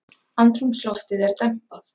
Andrúmsloftið er dempað